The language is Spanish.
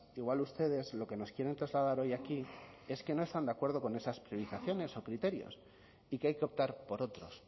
igual ustedes lo que nos quieren trasladar hoy aquí es que no están de acuerdo con esas priorizaciones o criterios y que hay que optar por otros